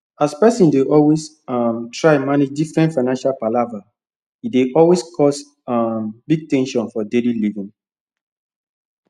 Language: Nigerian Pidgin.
as person dey always um try manage different financial palava e dey always cause um big ten sion for daily living